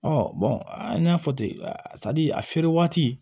an y'a fɔ ten a feere waati